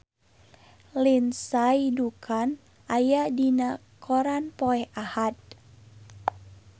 Lindsay Ducan aya dina koran poe Ahad